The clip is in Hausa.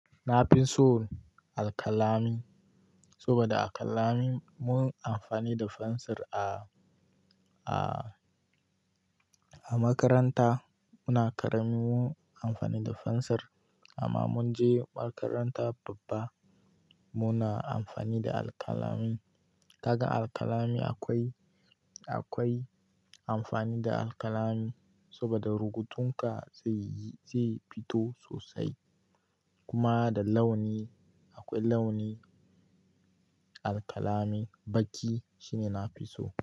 Na fi so alƙalami saboda a alƙalami mun amfani da fensir a, a, a makaranta muna karami mun amfani da fensir amma mun je makaranta babba muna amfani da alkalami. Kaga alƙalami akwai, akwai amfani da alkalami saboda rubutunka zai yi, zai fito sosai kuma da launi akwai launi alkalami baki shine nafi so.